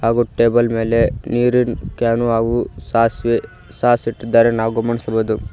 ಹಾಗೂ ಟೇಬಲ್ ಮೇಲೆ ನೀರಿನ್ ಕ್ಯಾನ್ ಹಾಗೂ ಸಾಸ್ವೆ ಸಾಸ್ ಇಟ್ಟಿದ್ದಾರೆ ನಾವು ಗಮನಿಸಬಹುದು.